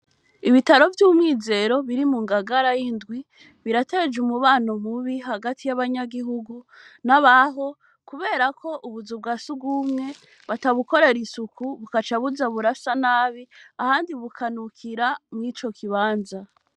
Ibitaro vy'umwizero biri mungagara y'indwi birateje umubano mubi hagati y'abanyagihugu n'abaho kuberako ubuzu bwasugwumwe batabukorera isuku bugaca buza burasa nabi ahandi bukanukira mw'icokibanza.